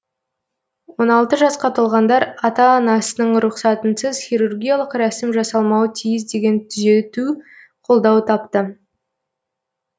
жасқа толғандар атан ана анасының рұқсатынсыз хирургиялық рәсім жасалмауы тиіс деген түзету қолдау тапты